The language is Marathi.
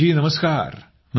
राजेश जी नमस्कार